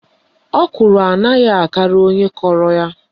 Ọkwụrụ anaghị akarị onye kọrọ ya.